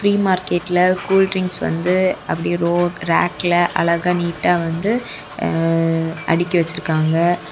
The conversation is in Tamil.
பிரி மார்க்கெட்ல கூலட்ரிங்க்ஸ் வந்து அப்டியே ரோ ராக்ல அழகா நீட்டா வந்து அடுக்கி வச்சிருக்காங்க.